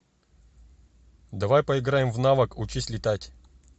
давай поиграем в навык учись летать